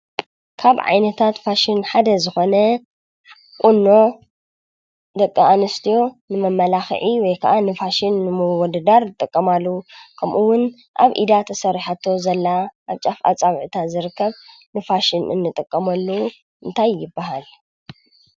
ካብ ዓይነታት ፋሽን ሓደ ዝኾነ ቁኖ ደቂ ኣንስትዮ ንመመላክዒ ወይ ከዓ ንፋሽን ንምውድዳር ዝጥቀማሉ ከምኡ እውን ኣብ ኢዳ ተሰሪሓቶ ዘላ ኣብ ጫፍ ኣጻብዕታ ዝርከብ ንፋሽን ንጥቀመሉ እንታይ ይበሃል?